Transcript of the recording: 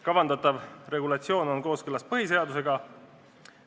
Kavandatav regulatsioon on kooskõlas põhiseadusega.